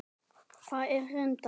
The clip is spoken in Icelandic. Það var reyndar